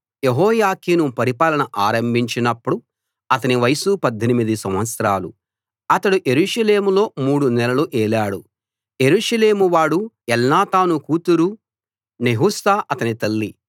యెహోయాకీను పరిపాలన ఆరంభించినప్పుడు అతని వయసు 18 సంవత్సరాలు అతడు యెరూషలేములో మూడు నెలలు ఏలాడు యెరూషలేమువాడు ఎల్నాతాను కూతురు నెహుష్తా అతని తల్లి